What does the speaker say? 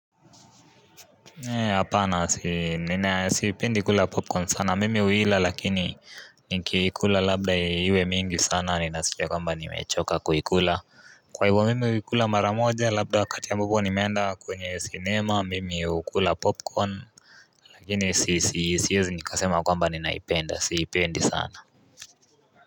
Apana siipendi kula popcorn sana mimi huila lakini nikikula labda iwe mingi sana ninasikia kwamba nimechoka kuikula Kwa hiyo mimi huikula mara moja labda wakati ambapo nimeenda kwenye sinema mimi hukula popcorn lakini si siwezi nikasema kwamba ninaipenda siipendi sana.